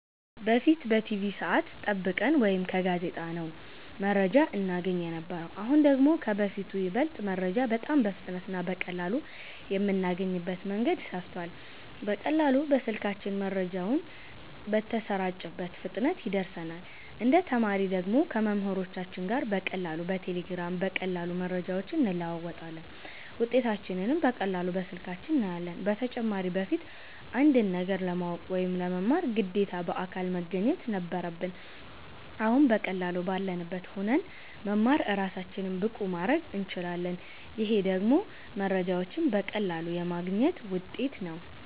በፊት በቲቪ ሰዐት ጠብቀን ወይ ከጋዜጣ ነው መረጃ እናገኝ የነበረው አሁን ደግሞ ከበፊቱ ይበልጥ መረጃ በጣም በፍጥነት እና በቀላሉ የምናገኝበት መንገድ ሰፍቷል በቀላሉ በስልካችን መረጃው በተሰራጨበት ፍጥነት ይደርሰናል እንደ ተማሪ ደግሞ ከመምህሮቻችን ጋር በቀላሉ በቴሌግራም በቀላሉ መረጃዎችን እንለዋወጣለን ውጤታችንንም በቀላሉ በስልካችን እናያለን በተጨማሪም በፊት አንድን ነገር ለማወቅ ወይ ለመማር ግዴታ በአካል መገኘት ነበረብን አሁን በቀላሉ ባለንበት ሁነን መማር እራሳችንን ብቁ ማረግ እንችላለን ይሄ ደግሞ መረጃዎችን በቀላሉ የማግኘት ውጤት ነው